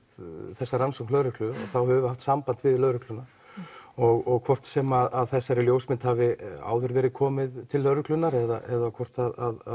þessa rannsókn lögreglu þá höfum við haft samband við lögregluna og hvort sem þessari ljósmynd hafi áður verið komið til lögreglunnar eða hvort